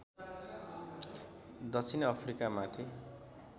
दक्षिण अफ्रिकामाथि